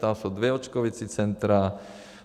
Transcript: Tam jsou dvě očkovací centra.